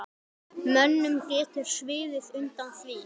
Mönnum getur sviðið undan því.